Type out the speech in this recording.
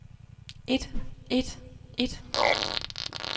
et et et